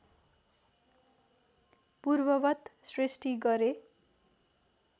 पूर्ववत् सृष्टि गरे